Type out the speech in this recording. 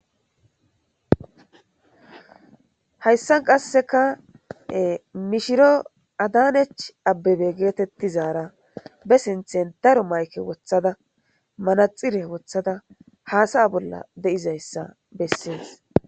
Hayssan qassekka mishiro Adaanech Abebe geetettizaara besinthen wothada manaxxire woththada haasa7a bolla de7izayssa bessees.